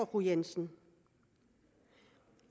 fru jensen